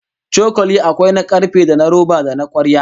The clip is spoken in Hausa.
Cokali akwai na karfe, da na roba, da na kwarya